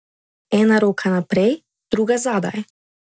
Ena roka naprej, druga zadaj.